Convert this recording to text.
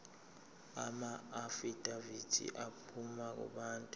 amaafidavithi aphuma kubantu